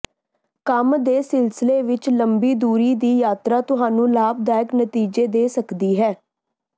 ਕੰਮ ਦੇ ਸਿਲਸਿਲੇ ਵਿੱਚ ਲੰਮੀ ਦੂਰੀ ਦੀ ਯਾਤਰਾ ਤੁਹਾਨੂੰ ਲਾਭਦਾਇਕ ਨਤੀਜੇ ਦੇ ਸਕਦੀ ਹੈ